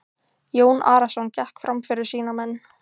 Jón Arason gekk fram fyrir sína menn.